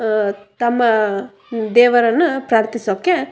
ಹ ತಮ್ಮ ದೇವರನ್ನ ಪ್ರಾರ್ಥಿಸೋಕೆ--